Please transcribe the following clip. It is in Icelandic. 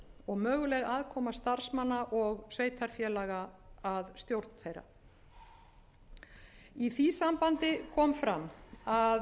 og möguleg aðkoma starfsmanna og sveitarfélaga að stjórn þeirra í því sambandi kom fram að á